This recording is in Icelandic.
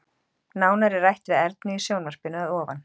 Nánar er rætt við Ernu í sjónvarpinu að ofan.